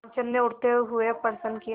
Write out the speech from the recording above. रामचंद्र ने उठते हुए प्रश्न किया